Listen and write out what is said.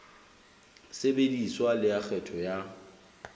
sebediswa le ya kgetho ya